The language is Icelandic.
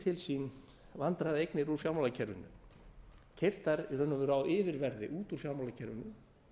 til sín vandræðaeignir úr fjármálakerfinu keypt þær í raun og veru á yfirverði út úr fjármálakerfinu